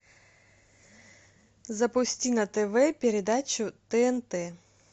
запусти на тв передачу тнт